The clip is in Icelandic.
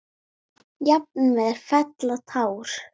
Jafnvel fella tár.